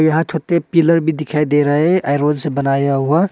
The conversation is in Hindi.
यहां छोटे पिलर भी दिखाई दे है ऐरो से बनाया हुआ।